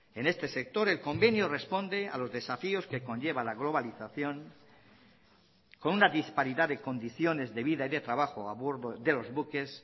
en este sector el convenio responde a los desafíos que conlleva la globalización con una disparidad de condiciones de vida y de trabajo a bordo de los buques